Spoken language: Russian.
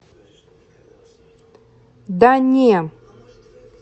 да не